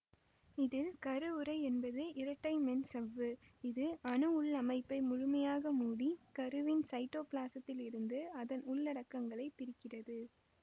இதில் கரு உறை என்பது இரட்டை மென்சவ்வு இது அணு உள் அமைப்பை முழுமையாக மூடி கருவின் சைட்டோப்பிளாசத்திலிருந்து அதன் உள்ளடக்கங்களைப் பிரிக்கிறது